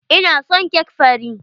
Ina son cake fari.